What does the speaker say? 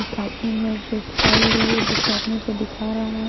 एक आदमी है जो फाइल लिए दूसरा आदमी को दिखा रहा हैं।